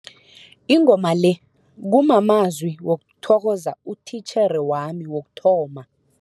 Ingoma le kumamezwi wokuthokoza utitjhere wami wokuthoma.